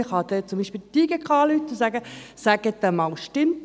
Man könnte beispielsweise bei der JGK anrufen und nachfragen, ob das stimmt.